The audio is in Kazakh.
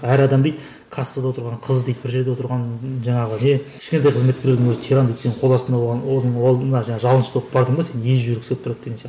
әр адам дейді кассада отырған қыз дейді бір жерде отырған жаңағы не кішкентай қызметкердің өзі тиран дейді сен қол астына оған жалынышты болып бардың ба сені езіп жібергісі келіп тұрады деген